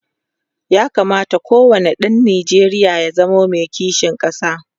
ya kamata ko wani ɗan Nijeriya ya zamo Mai kishin ƙasa